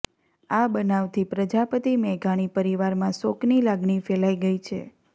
આ બનાવથી પ્રજાપતિ મેઘાણી પરિવારમાં શોકની લાગણી ફેલાઇ ગઇ છે